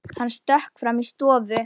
Hann stökk fram í stofu.